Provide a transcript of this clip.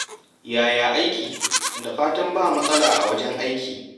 Yaya aiki yau? Da fatan ba matsala a wajen aiki.